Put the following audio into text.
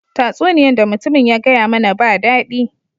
Tasuniyan da mutumin ya gaya mana ba dadi.